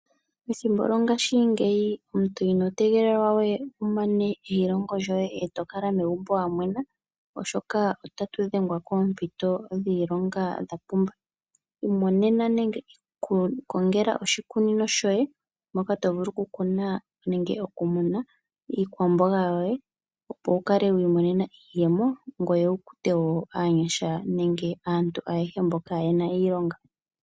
Ethimbo lyongaashingeyi omuntu ino tegelelwa we wu mane eilongo lyoye eto kala megumbo wa mwena oshoka otatu dhengwa koompito dhiilonga dha pumba. Imonena nenge ikongela oshikunino shoye moka to vulu oku kuna nenge okumuna iikwamboga yoye opo wu kale wi imonena iyemo ngoye wu kute aanyasha nenge aantu ayehe mbo kayena iilonga.